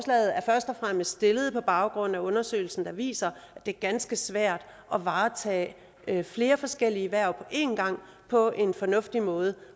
fremmest lavet på baggrund af undersøgelsen der viser at det er ganske svært at varetage flere forskellige hverv en gang på en fornuftig måde